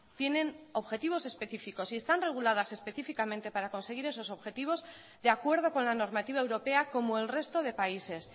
tienen objetivos específicos y están reguladas específicamente para conseguir esos objetivos de acuerdo con la normativa europea como el resto de países